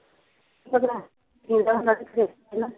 ਹੈ ਨਾ